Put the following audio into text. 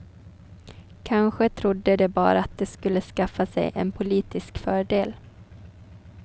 Kanske trodde de bara att de skulle skaffa sig en politisk fördel.